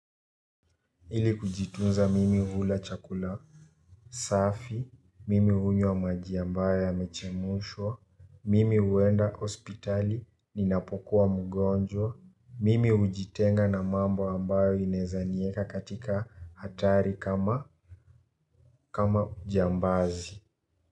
Ili kujitunza mimi hula chakula safi, mimi unywa maji ambaye yamechemushwa mimi uenda ospitali ninapokuwa mgonjwa mimi ujitenga na mambo ambayo inezanieka katika hatari kama kama ujambazi.